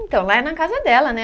Então, lá é na casa dela, né?